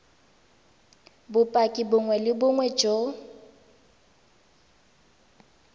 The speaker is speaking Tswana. bopaki bongwe le bongwe jo